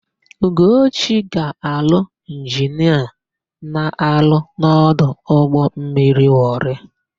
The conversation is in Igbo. Ugochi ga-alụ injinia na-arụ n'ọdụ ụgbọmmiri Wọrị.